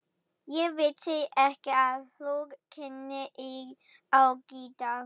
Ég vissi ekki að þú kynnir á gítar.